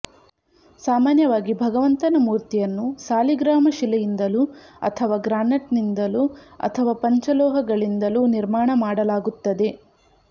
ಸಾಮಾನ್ಯವಾಗಿ ಭಗವಂತನ ಮೂರ್ತಿಯನ್ನು ಸಾಲಿಗ್ರಾಮ ಶಿಲೆಯಿಂದಲೋ ಅಥವಾ ಗ್ರಾನೆಟ್ ನಿಂದಲೂ ಅಥವಾ ಪಂಚಲೋಹಗಳಿಂದಲೂ ನಿರ್ಮಾಣ ಮಾಡಲಾಗುತ್ತದೆ